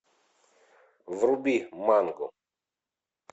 вруби мангу